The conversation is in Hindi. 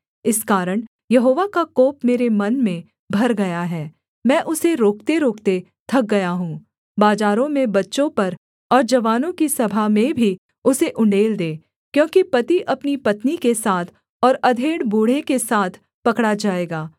इस कारण यहोवा का कोप मेरे मन में भर गया है मैं उसे रोकतेरोकते थक गया हूँ बाजारों में बच्चों पर और जवानों की सभा में भी उसे उण्डेल दे क्योंकि पति अपनी पत्नी के साथ और अधेड़ बूढ़े के साथ पकड़ा जाएगा